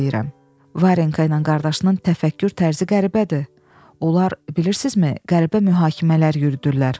Varenka ilə qardaşının təfəkkür tərzi qəribədir, onlar, bilirsizmi, qəribə mühakimələr yürüdürlər.